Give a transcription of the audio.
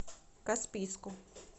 каспийску